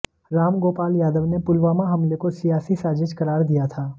राम गोपाल यादव ने पुलवामा हमले को सियासी साजिश करार दिया था